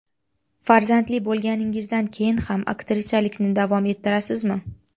Farzandli bo‘lganingizdan keyin ham aktrisalikni davom ettirasizmi?